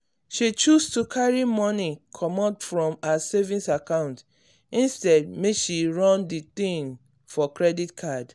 she choose to carry money comot from her savings account instead make she run the thing for credit card.